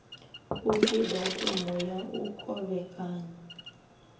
upfi datumu ya u kovhekanya